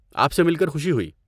آپ سے مل کر خوشی ہوئی۔